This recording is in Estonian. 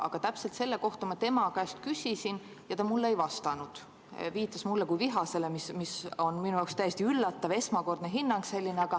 Aga täpselt selle kohta ma tema käest küsisin ja ta mulle ei vastanud, viitas mulle kui vihasele, mis oli täiesti üllatav, esmakordne selline hinnang.